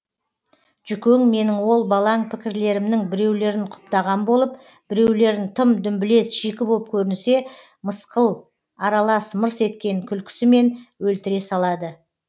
жүкең менің ол балаң пікірлерімнің біреулерін құптаған болып біреулерін тым дүмбілез шикі боп көрінсе мысқыл аралас мырс еткен күлкісімен өлтіре салады